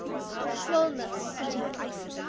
schwellnus